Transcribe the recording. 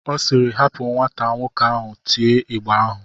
Ọ siiri, hapa ka nwata nwoke ahụ tie ịgba ahụ!